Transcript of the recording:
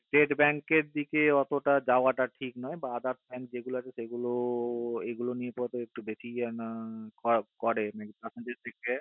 state bank এর দিকে ওতটা যাওয়া টা ঠিক নয় বা others যে গুলো bank আছে সেগুলোর এগুলো কে নিয়ে একটু বেশি